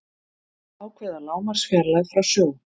ákveða lágmarksfjarlægð frá sjó